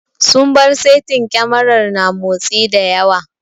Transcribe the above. Sun bar saitin kyamarar na motsi da yawa.